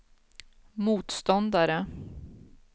motståndare